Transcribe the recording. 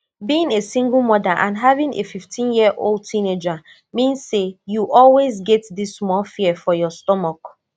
being a single mother and having afifteenyearold teenager mean say you always get dis small fear for your stomach